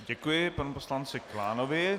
Děkuji panu poslanci Klánovi.